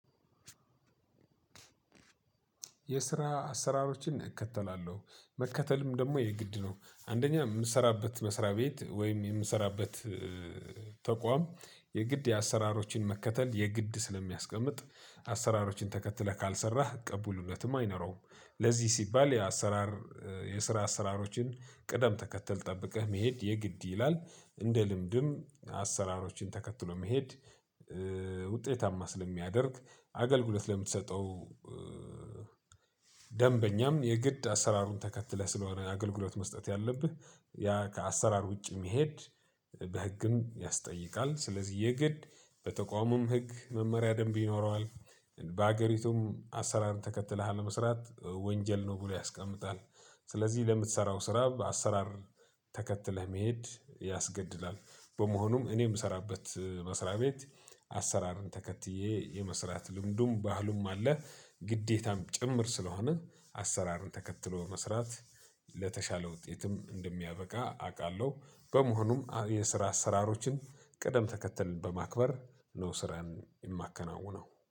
የስራ አሰራሮችን እከተላለሁ መከተልም ደግሞ የግድ ነው። አንደኛ የምሰራበት መስሪያ ቤት ወይም የምሰራበት ተቋም የግድ የአሰራሮችን መከተል የግድ ስለሚያስቀምጥ አሰራሮችን ተከትለህ ካልሰራህ ቅቡልነትም አይኖረውም። ለዚህ ሲባል የአሰራር የስራ አሰራሮችን ቅደም ተከተል ጠብቀህ መሄድ የግድ ይላል። እንደ ልምድም አሰራሮችን ተከትሎ መሄድ። ውጤታማ ስለሚያደርግ አገልግሎት ለምትሰጠው ደንበኛም የግድ አሰራሩን ተከትለህ ስለሆነ አገልግሎት መስጠት ያለብህ ያ ከአሰራር ውጪ መሄድ። በህግም ያስጠይቃል ስለዚህ የግድ በተቋሙም ህግ መመሪያ ደንብ ይኖረዋል። በአገሪቱም አሰራርን ተከትለህ አለመስራት ወንጀል ነው ብሎ ያስቀምጣል። ስለዚህ ለምትሰራው ስራ አሰራር ተከትለህ መሄድ ያስገድዳል። በመሆኑም እኔ የምሰራበት መስሪያ ቤት አሰራርን ተከትዬ የመስራት ልምዱም ባህሉም አለ። ግዴታም ጭምር ስለሆነ አሰራርን ተከትሎ መስራት ለተሻለ ውጤትም እንደሚያበቃ አውቃለሁ። በመሆኑም የስራ አሰራሮችን ቅደም ተከተልን በማክበር ነው ስራን የማከናውነው